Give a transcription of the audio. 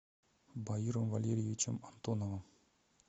баиром валериевичем антоновым